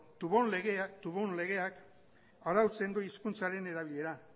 toubon legeak arautzen du hizkuntzaren erabilera